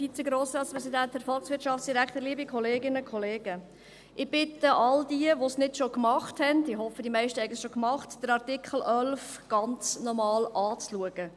Ich bitte all jene, die es nicht schon gemacht haben – ich hoffe, dass es die meisten schon gemacht haben –, den ganzen Artikel 11 noch einmal anzuschauen.